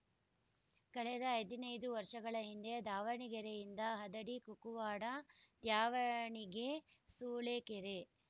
ಕಳೆದ ಹದಿನೈದು ವರ್ಷಗಳ ಹಿಂದೆ ದಾವಣಗೆರೆಯಿಂದ ಹದಡಿ ಕುಕ್ಕುವಾಡ ತ್ಯಾವಣಿಗೆ ಸೂಳೆಕೆರೆ